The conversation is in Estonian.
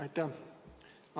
Aitäh!